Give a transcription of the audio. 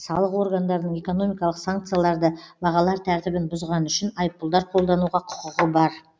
салық органдарының экономикалық санкцияларды бағалар тәртібін бұзғаны үшін айыппұлдар қолдануға құқығы бар